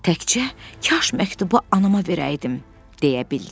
Təkcə kaş məktubu anama verəydim, deyə bildi.